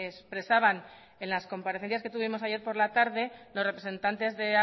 expresaban en las comparecencias que tuvimos ayer por la tarde los representantes de